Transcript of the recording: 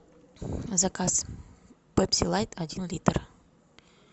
заказ пепси лайт один литр